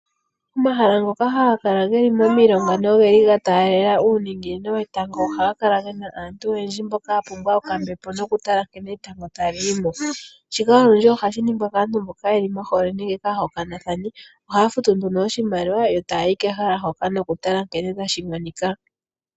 Omahala ngoka haga kala ge li momilonga noge li ga taalela uuninginino wetango ohaga kala ge na aantu oyendji mboka ya pumbwa okambepo nokutala nkene etango tali yi mo. Shika olundji ohashi ningwa kaantu mboka ye li mohole nenge aahokanathani. Ohaa futu nduno oshimaliwa yo taya yi kehala hoka nokutala nkene tashi monika.